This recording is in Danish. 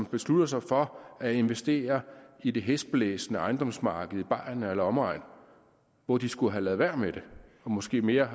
beslutte sig for at investere i det hæsblæsende ejendomsmarked i bayern eller omegn hvor de skulle have ladet være med det og måske mere